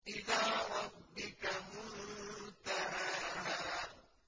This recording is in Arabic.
إِلَىٰ رَبِّكَ مُنتَهَاهَا